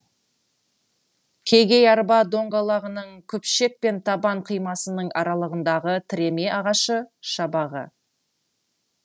кегей арба доңғалағының күпшек пен табан қимасының аралығындағы тіреме ағашы шабағы